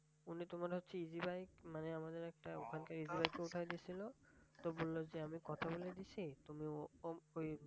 উনিতো মনে হচ্ছে easy bike মানে আমাদের ওখানে একটা এগুলাতে উঠাই দিছিল। তো বললো যে আমি কথা বলে দিছি তুমি ও~ঐ